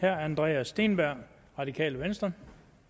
herre andreas steenberg radikale venstre